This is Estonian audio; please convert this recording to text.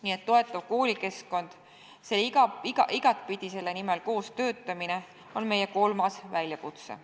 Nii et toetav koolikeskkond, igat pidi selle nimel koos töötamine on meie kolmas väljakutse.